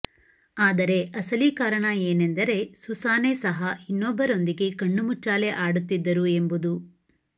ಆದರೆ ಅಸಲಿ ಕಾರಣ ಏನೆಂದರೆ ಸುಸಾನೆ ಸಹ ಇನ್ನೊಬ್ಬರೊಂದಿಗೆ ಕಣ್ಣಾಮುಚ್ಚಾಲೆ ಆಡುತ್ತಿದ್ದರು ಎಂಬುದು